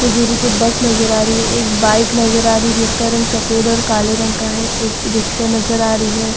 कुछ दूरी पे बस नज़र आ रही है। एक बाइक नज़र आ रही है। जिसका रंग सफ़ेद और काले रंग का है। एक रिक्शा नज़र आ रही है।